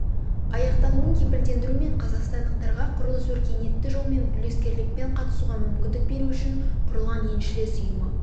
аяқталуын кепілдендіру мен қазақстандықтарға құрылысқа өркениетті жолмен үлескерлікпен қатысуға мүмкіндік беру үшін құрылған еншілес ұйымы